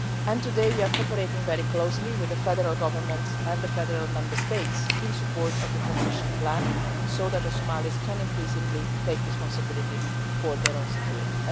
and today we are cooperating very closely with the federal government and the federation member states in support of the transition plan so that the Somalis can increasingly take responsibility for their own security.